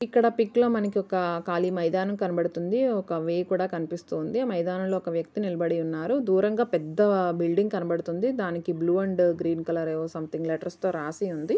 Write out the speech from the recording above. ఇక్కడ పిక్ లో మనకి ఒక ఖాళీ మైదానం కనబడుతుంది. ఒక వే కూడా కనిపిస్తోంది. మైదానంలో ఒక వ్యక్తి నిలబడి ఉన్నారు. దూరంగా ఒక పెద్ద బిల్డింగ్ కనబడుతుంది. దానికి blue and green colour something letters తో రాసి ఉంది.